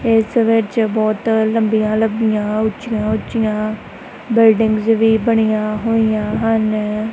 ਏਸ ਵਿੱਚ ਬੌਹਤ ਲੰਬੀਆਂ ਲੰਬੀਆਂ ਉੱਚਿਆਂ ਉੱਚਿਆਂ ਬਿਲਡਿੰਗਸ ਵੀ ਬਣਿਆ ਹੋਇਆ ਹਨ।